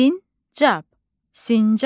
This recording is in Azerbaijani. Sincab, sincab.